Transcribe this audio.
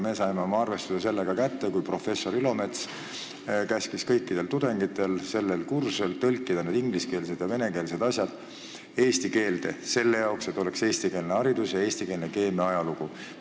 Me saime oma arvestuse sellega kätte, kui professor Ilomets käskis kõikidel tudengitel sellel kursusel tõlkida need ingliskeelsed ja venekeelsed asjad eesti keelde – selle jaoks, et oleks eestikeelne haridus ja eestikeelne keemia ajalugu.